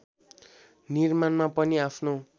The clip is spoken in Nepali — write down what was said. निर्माणमा पनि आफ्नो